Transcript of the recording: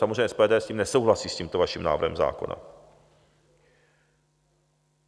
Samozřejmě SPD s tím nesouhlasí, s tímto vaším návrhem zákona.